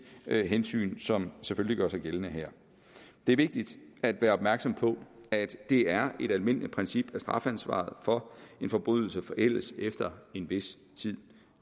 hensyn som selvfølgelig gør sig gældende her det er vigtigt at være opmærksom på at det er et almindeligt princip at strafansvaret for en forbrydelse forældes efter en vis tid